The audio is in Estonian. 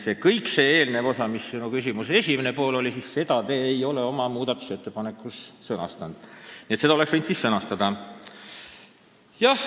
Nii et seda eelnevat osa, mis oli sinu küsimuse esimene pool, ei ole te oma muudatusettepanekus sõnastanud – oleks võinud siis sõnastada.